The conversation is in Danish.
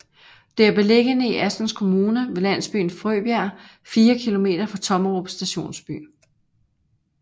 Det er beliggende i Assens Kommune ved landsbyen Frøbjerg 4 kilometer fra Tommerup Stationsby